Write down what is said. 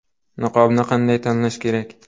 Niqobni qanday tanlash kerak?